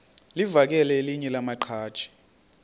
livakele elinye lamaqhaji